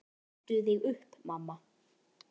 Hertu þig upp, mamma.